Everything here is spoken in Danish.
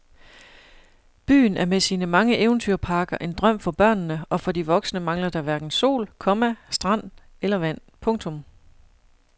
Byen er med sine mange eventyrparker en drøm for børnene og for de voksne mangler der hverken sol, komma strand eller vand. punktum